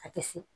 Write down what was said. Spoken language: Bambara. A tɛ sin